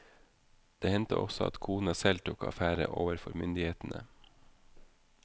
Det hendte også at kona selv tok affære overfor myndighetene.